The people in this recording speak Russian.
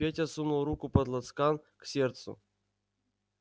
петя сунул руку под лацкан к сердцу